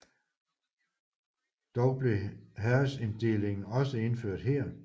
Dog blev herredsinddelingen også indført her